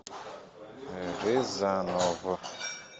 рязанов